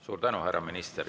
Suur tänu, härra minister!